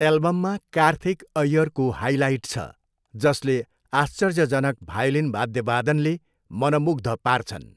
एल्बममा कार्थिक अय्यरको हाइलाइट छ, जसले आश्चर्यजनक भायोलिन वाद्यवादनले मनमुग्ध पार्छन्।